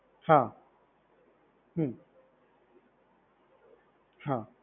હા હમ્મ હા.